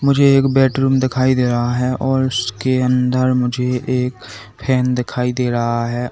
मुझे एक बेडरूम दिखाई दे रहा है और उसके अंदर मुझे एक फैन दिखाई दे रहा है।